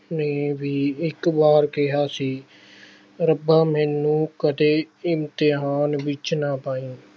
ਨੇ ਵੀ ਇੱਕ ਵਾਰ ਕਿਹਾ ਸੀ ਰੱਬਾ ਮੈਨੂੰ ਕਦੇ ਇਮਤਿਹਾਨ ਵਿੱਚ ਨਾ ਪਾਈਂ।